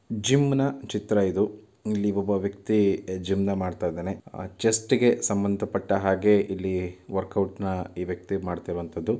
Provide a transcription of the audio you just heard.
ಜಿಮ್ನ ಚಿತ್ರ ಇದು ಇಲ್ಲಿ ಒಬ್ಬ ವ್ಯಕ್ತಿ ಜಿಮ್ ಮಾಡ್ತಾ ಇದ್ದಾನೆ. ಚೆಸ್ಟ್ ಗೆ ಸಂಬಂಧ ಪಟ್ಟ ಹಾಗೆ ಇಲ್ಲಿ ವರ್ಕೌಟ್ ನ ಈ ವ್ಯಕ್ತಿ ಮಾಡ್ತಾ ಇರುವಂತದ್ದು.